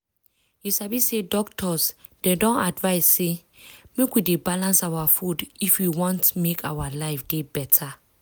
you sabi say doctors dem don advise say make we dey balance our food if we want make our life dey beta.